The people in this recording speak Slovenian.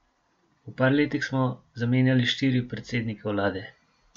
V par letih smo zamenjali štiri predsednike vlade.